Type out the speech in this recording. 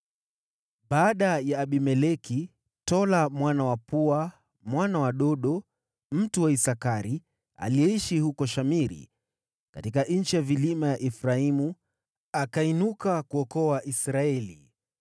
Baada ya Abimeleki, Tola mwana wa Pua mwana wa Dodo, mtu wa Isakari, aliyeishi huko Shamiri, katika nchi ya vilima ya Efraimu, akainuka kuokoa Israeli.